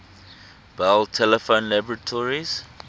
bell telephone laboratories